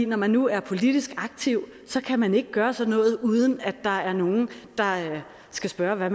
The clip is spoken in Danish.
når man nu er politisk aktiv kan man ikke gøre sådan noget uden at der er nogle der skal spørge